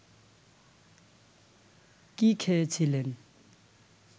কি খেয়ে ছিলেন